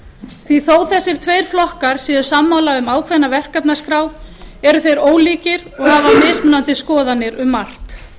því þó að þessir tveir flokkar séu sammála um ákveðna verkefnaskrá eru þeir ólíkir og hafa mismunandi skoðanir um margt